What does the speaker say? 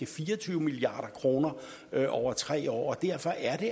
fire og tyve milliard kroner over tre år derfor er